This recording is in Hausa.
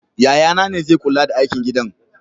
Yayana ne zai kula da aikin gidan.